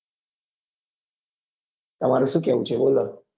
તમારું શું કેવું છે બોલો